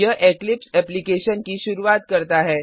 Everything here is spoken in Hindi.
यह इक्लिप्स एप्लिकेशन की शुरूआत करता है